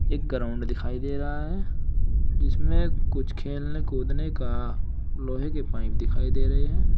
एक ग्राउंड दिखाई दे रहा है जिसमें कुछ खेलने कूदने का लोहे के पाइप दिखाई दे रहे हैं।